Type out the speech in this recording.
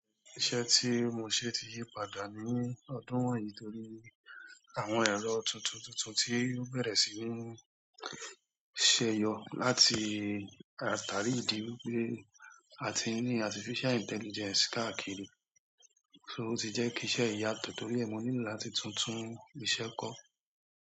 Iṣẹ́ tí mo ṣe ti yí padà ní ọdún wọ̀nyí torí àwọn ẹ̀rọ tuntun tuntun tí ó bẹ̀rẹ̀ sí ní ṣe yọ láti atàrí ìdí wípé àti ní artificial intelligence káàkiri, ṣo o ti jẹ́ kí iṣẹ́ yi yà tọ̀ torí ẹ́ mo nílò láti tuntun iṣẹ́ kọ́.